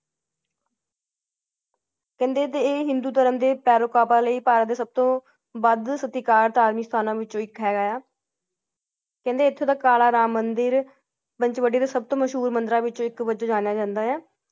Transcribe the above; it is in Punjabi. ਕਹਿੰਦੇ ਇਹ ਹਿੰਦੂ ਧਰਮ ਦੇ ਭੈਰਵ ਬਾਬਾ ਲਈ ਭਾਰਤ ਦੇ ਸਬਤੋ ਵਾਦ ਸਤਿਕਾਰ ਧਾਰਮਿਕ ਸਥਾਨ ਵਿੱਚੋ ਇੱਕ ਹੈ । ਕਹਿੰਦੇ ਐਥੋਂ ਦਾ ਕਾਲਾ ਰਾਮ ਮੰਦਿਰ ਪੰਚਵਟੀ ਦੇ ਸਬਤੋ ਮਸ਼ਹੂਰ ਮੰਦਿਰਾਂ ਵਿੱਚੋ ਇੱਕ ਵੱਜੋਂ ਜਾਣਿਆ ਜਾਂਦਾ ਹੈ ।